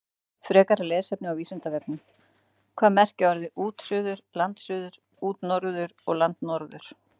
Frekara lesefni á Vísindavefnum: Hvað merkja orðin útsuður, landsuður, útnorður og landnorður?